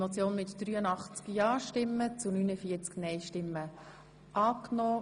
Sie haben die Motion angenommen.